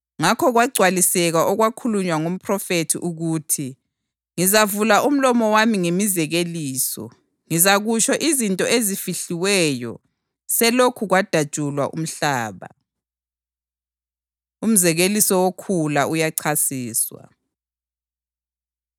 Ngakho kwagcwaliseka okwakhulunywa ngomphrofethi ukuthi: “Ngizavula umlomo wami ngemizekeliso, ngizakutsho izinto ezifihliweyo selokhu kwadatshulwa umhlaba.” + 13.35 AmaHubo 78.2 Umzekeliso Wokhula Uyachasiswa